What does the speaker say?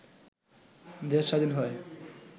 দেশ স্বাধীন হয়